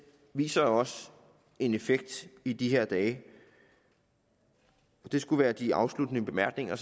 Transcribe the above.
viser jo også en effekt i de her dage det skulle være de afsluttende bemærkninger og